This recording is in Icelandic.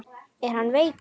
Er hann veikur?